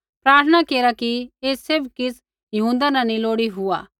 प्रार्थना केरा कि ऐ सैभ किछ़ हिऊँदा न नैंई लोड़ी हुआ